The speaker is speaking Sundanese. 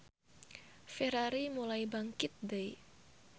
Ferrari mulai bangkit deui.